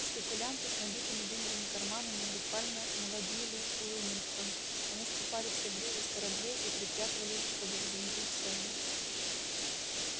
спекулянты с набитыми деньгами карманами буквально наводнили уилмингтон они скупали все грузы с кораблей и припрятывали их чтобы взвинтить цены